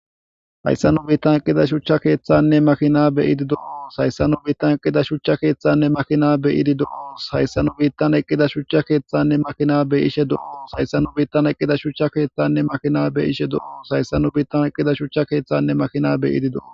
Hayssanu biittan eqida shuchcha keeththanne makina be idi doo hayssanu biittan eqqida shuchcha keeththanne makina b idi doos hayssanu biittan eqqida shuchcha keeththanne makina be ishe doos hayssanu biittan eqqida shucha keeththanne makina be ishe doos hayssanu biittan eqqida shucha keeththanne makinabe ididoo.